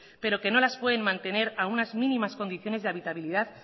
pero que nos las pueden mantener a unas mínimas condiciones de habitabilidad